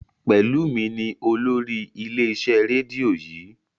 Pelumi ní olórí ilé iṣẹ rédíò yii.